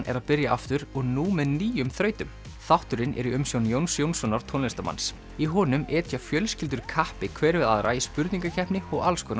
er að byrja aftur og nú með nýjum þrautum þátturinn er í umsjón Jóns Jónssonar tónlistarmanns í honum etja fjölskyldur kappi hver við aðra í spurningakeppni og alls konar